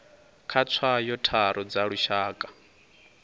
kha tswayo tharu dza lushaka